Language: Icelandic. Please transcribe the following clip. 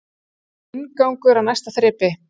Inngangur að næsta þrepi